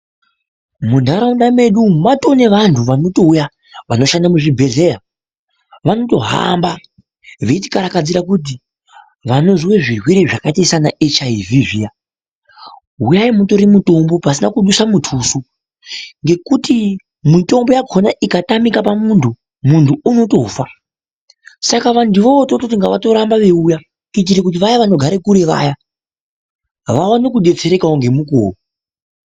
Muntharaunda mwedu umu matoo nevanthu vanotouya vanoshande muzvibhedhlera vanotohamba veichikarakadzira kuti vane zvimwe zvirwere zvakaita sana HIV zviya huyayi mutore mitombo pasina kuduse mutuso ngekuti mutombowakona ikatamika pamunthu munthu unotofa saka vanthu ivavo tinototi ngavarambe veiiuya kuitira kuti vaya vanogare kure vaya vaone kudetserekawo ngemukuwo.